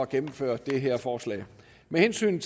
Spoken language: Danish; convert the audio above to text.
gennemføre det her forslag med hensyn